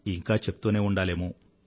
ఇంకా చెప్తూనే ఉండాలేమో